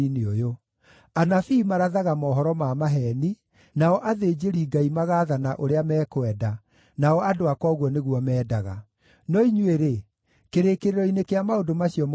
Anabii marathaga mohoro ma maheeni, nao athĩnjĩri-Ngai magaathana ũrĩa mekwenda, nao andũ akwa ũguo nĩguo mendaga. No inyuĩ-rĩ, kĩrĩkĩrĩro-inĩ kĩa maũndũ macio mũgeeka atĩa?